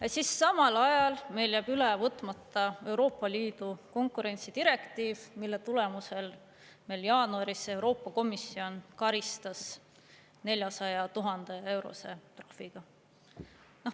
Ja siis samal ajal meil jääb üle võtmata Euroopa Liidu konkurentsidirektiiv, mille tulemusel meil jaanuaris Euroopa Komisjon karistas 400 000-eurose trahviga.